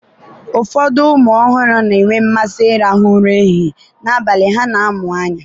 ụfọdụ ụmụ ọhụrụ na-enwe mmasị ịrahụ ụra n'ehihie, n'abalị ha na-amụ anya.